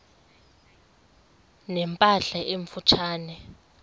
ne mpahla emfutshane